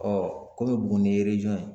komi Buguni ye ye